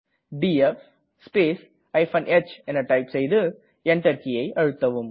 DF space h type செய்து Enter கீயை அழுத்தவும்